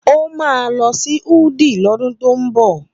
Ó máa lọ sí Wudil lọ́dún tó ń bọ̀.